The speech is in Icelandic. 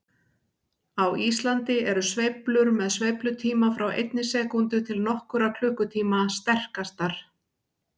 Á Íslandi eru sveiflur með sveiflutíma frá einni sekúndu til nokkurra klukkutíma sterkastar.